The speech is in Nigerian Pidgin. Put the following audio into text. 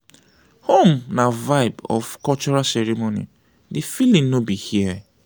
home na vibe of cultural ceremony di feeling no be here.